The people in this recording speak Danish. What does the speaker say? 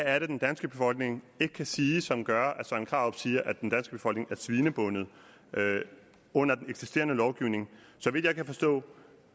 er den danske befolkning ikke kan sige som gør at herre søren krarup siger at den danske befolkning er svinebundet under den eksisterende lovgivning så vidt jeg kan forstå